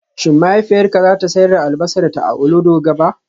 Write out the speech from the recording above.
Shin mahaifiyarka za ta sayar da albasarta a Olodo gaba?